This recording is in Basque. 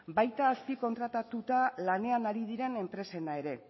baita azpikontratatuta lanean ari diren enpresena ere